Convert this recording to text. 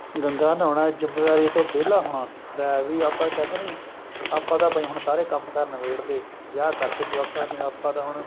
ਗੰਗਾ ਨਹਾਉਣਾ ਜ਼ਿਮੇਵਾਰੀਆਂ ਤੋਂ ਵਿਹਲਾ ਹੋਣਾ ਲੈ ਵੀ ਆਪਾਂ ਕਹਿੰਦੇ ਨਹੀਂ ਆਪਾਂ ਤਾਂ ਭਾਈ ਹੁਣ ਸਾਰੇ ਕੰਮ ਕਾਰ ਨਿਬੇੜਲੇ ਵਿਆਹ ਕਰਤੇ ਜਵਾਕਾਂ ਦੇ ਆਪਾਂ ਤਾਂ ਹੁਣ